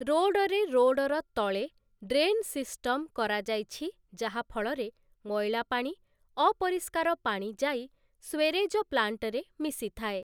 ରୋଡ଼ରେ ରୋଡ଼ର ତଳେ ଡ୍ରେନ୍ ସିଷ୍ଟମ କରାଯାଇଛି ଯାହା ଫଳରେ ମଇଳା ପାଣି, ଅପରିଷ୍କାର ପାଣି ଯାଇ ସ୍ୱେରେଜ ପ୍ଳାଣ୍ଟରେ ମିଶିଥାଏ ।